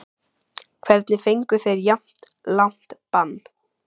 Hvernig fengu þeir jafn langt bann?